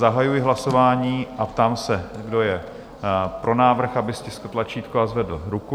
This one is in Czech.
Zahajuji hlasování a ptám se, kdo je pro návrh, aby stiskl tlačítko a zvedl ruku.